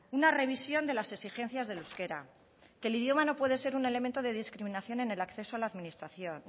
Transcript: una revisión de las exigencias del euskera que el idioma no puede ser un elemento de discriminación en el acceso a la administración